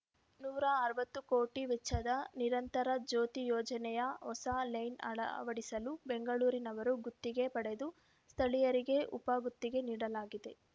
ನೂರ ಅರವತ್ತು ಕೋಟಿ ವೆಚ್ಚದ ನಿರಂತರ ಜ್ಯೋತಿ ಯೋಜನೆಯ ಹೊಸ ಲೈನ್‌ ಅಳವಡಿಸಲು ಬೆಂಗಳೂರಿನವರು ಗುತ್ತಿಗೆ ಪಡೆದು ಸ್ಥಳೀಯರಿಗೆ ಉಪ ಗುತ್ತಿಗೆ ನೀಡಲಾಗಿದೆ